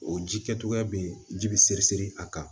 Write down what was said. O ji kɛcogoya bɛ ji bi seri siri a kan